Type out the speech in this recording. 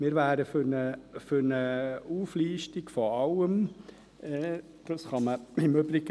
Wir wären für eine Auflistung von allem.